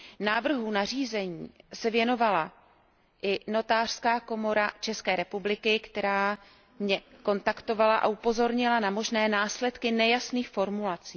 Návrhu nařízení se věnovala i Notářská komora České republiky, která mě kontaktovala a upozornila na možné následky nejasných formulací.